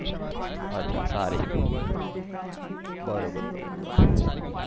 બરોબર બરોબર